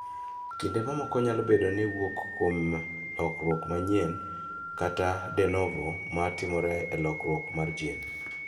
Kinde mamoko nyalo bedo ni wuok kuom lokruok manyien (de novo) ma timore e kokruok mar jin.